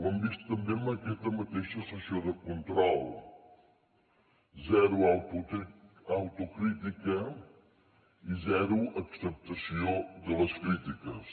ho hem vist també en aquesta mateixa sessió de control zero autocrítica i zero acceptació de les crítiques